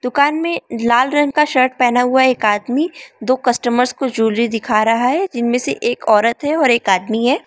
कान मे लाल रंग का शर्ट पहना हुआ एक आदमी दो कस्टमर्स को जुलरी दिखा रहा है जिनमें से एक औरत है और एक आदमी है।